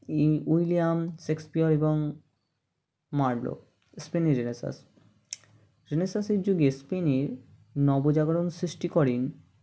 ই William Shakespeare এবং Marlowe spany Renaissance Renaissance -এর যুগে স্পেনে নবজাগরণ সৃষ্টি করেন